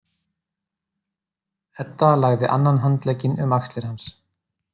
Edda lagði annan handlegginn um axlir hans.